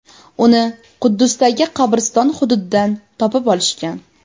Uni Quddusdagi qabriston hududidan topib olishgan.